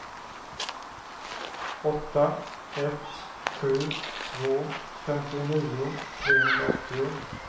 åtta ett sju två femtionio trehundraåttio